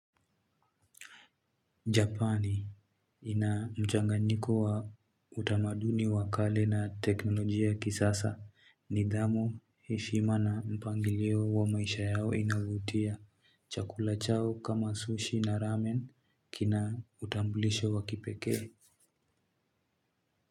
Japani ina mchanganyiko wa utamaduni wakale na teknolojia kisasa nidhamu heshima na mpangilio wa maisha yao inavutia. Chakula chao kama sushi na ramen kina utambulisho wakipeke.